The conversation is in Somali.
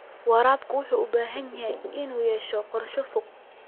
Waraabka wuxuu u baahan yahay inuu yeesho qorshe fog.